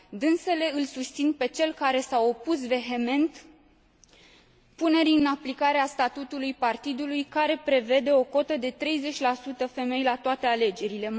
Dânsele îl susțin pe cel care s a opus vehement punerii în aplicare a statutului partidului care prevede o cotă de 30 femei la toate alegerile.